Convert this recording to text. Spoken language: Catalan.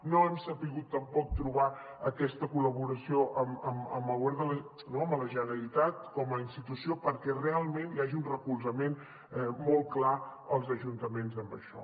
no hem sabut tampoc trobar aquesta col·laboració amb la generalitat com a institució perquè realment hi hagi un recolzament molt clar als ajuntaments en això